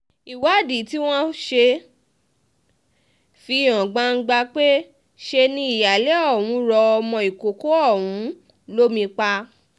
ìwádìí tí wọ́n ṣe fi hàn gbangba pé ṣe ni um ìyáálé ọ̀hún rọ ọmọ ìkọ̀kọ̀ ọ̀hún um lómi pa